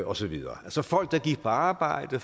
og så videre altså folk der gik på arbejde